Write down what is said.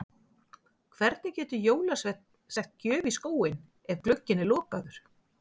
Hvernig getur jólasveinn sett gjöf í skóinn ef glugginn er lokaður?